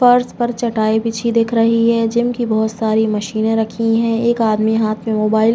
फर्श पर चटाई बिछी हुई दिख रही है। जिम की बहुत सारी मशीने रखी है। एक आदमी हाथ में मोबाइल --